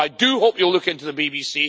So I do hope you will look into the BBC.